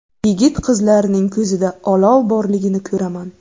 Yigit-qizlarning ko‘zida olov borligini ko‘raman.